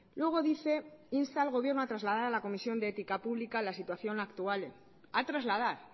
luego dice insta al gobierno a trasladar a la comisión de ética pública la situación actual a trasladar